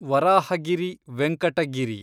Varahagiri Venkata Giri